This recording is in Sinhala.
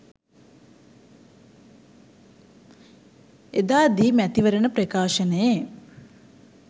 එදා දී මැතිවරණ ප්‍රකාශනයේ